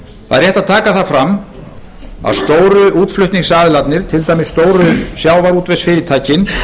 rétt að taka fram að stóru útflutningsaðilarnir til dæmis stóru sjávarútvegsfyrirtækin